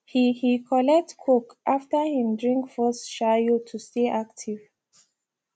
he he collect coke after him drink first shayo to stay active